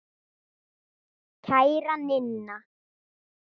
Kæra Ninna.